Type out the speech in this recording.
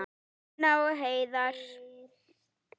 Tinna og Heiðar.